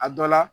A dɔ la